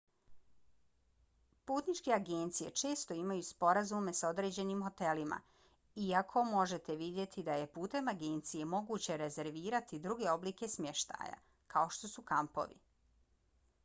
putničke agencije često imaju sporazume s određenim hotelima iako možete vidjeti da je putem agencije moguće rezervirati druge oblike smještaja kao što su kampovi